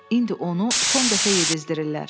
İndi onu son dəfə yedizdirirlər.